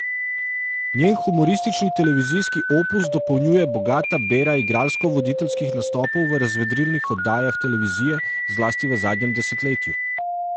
Njen humoristični televizijski opus dopolnjuje bogata bera igralsko voditeljskih nastopov v razvedrilnih oddajah televizije, zlasti v zadnjem desetletju.